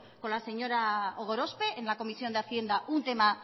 con la señora gorospe en la comisión de hacienda un tema